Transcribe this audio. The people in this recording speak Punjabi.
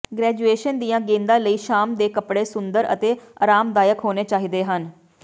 ਗ੍ਰੈਜੂਏਸ਼ਨ ਦੀਆਂ ਗੇਂਦਾਂ ਲਈ ਸ਼ਾਮ ਦੇ ਕੱਪੜੇ ਸੁੰਦਰ ਅਤੇ ਅਰਾਮਦਾਇਕ ਹੋਣੇ ਚਾਹੀਦੇ ਹਨ